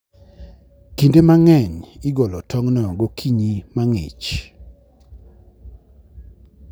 Kinde mang'eny igolo tong'go gokinyi mang'ich.